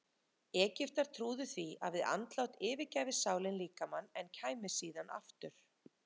Egyptar trúðu því að við andlát yfirgæfi sálin líkamann en kæmi síðan aftur.